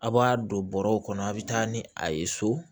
A' b'a don bɔrɔw kɔnɔ a' bɛ taa ni a ye so